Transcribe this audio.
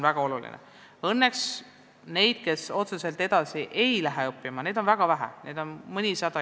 Õnneks neid, kes otseselt edasi ei lähe õppima, on väga vähe, neid on iga aasta mõnisada.